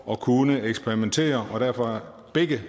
at kunne eksperimentere og derfor begge